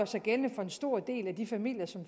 sig gældende for en stor del af de familier som